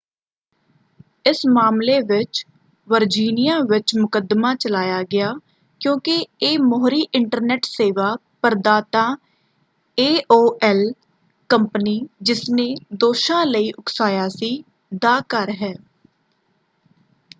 ਇਸ ਮਾਮਲੇ ਵਿੱਚ ਵਰਜੀਨੀਆਂ ਵਿੱਚ ਮੁਕੱਦਮਾਂ ਚਲਾਇਆ ਗਿਆ ਕਿਉਂਕਿ ਇਹ ਮੋਹਰੀ ਇੰਟਰਨੈਟ ਸੇਵਾ ਪ੍ਰਦਾਤਾ ਏਓਐਲ ਕੰਪਨੀ ਜਿਸਨੇ ਦੋਸ਼ਾਂ ਲਈ ਉਕਸਾਇਆ ਸੀ ਦਾ ਘਰ ਹੈ।